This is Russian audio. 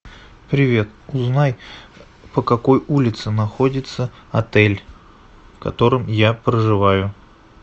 привет узнай по какой улице находится отель в котором я проживаю